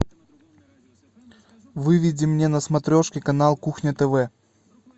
выведи мне на смотрешке канал кухня тв